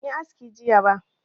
Ban yi aski jiya ba